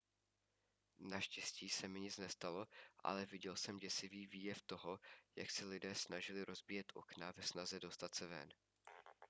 naštěstí se mi nic nestalo ale viděl jsem děsivý výjev toho jak se lidé snažili rozbíjet okna ve snaze dostat se ven